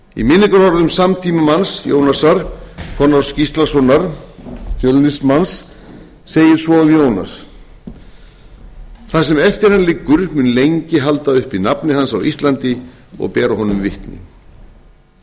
í minningarorðum samtímamanns jónasar konráðs gíslasonar fjölnismanns segir svo um jónas það sem eftir hann liggur mun lengi halda uppi nafni hans á íslandi og bera honum vitni öld er liðin frá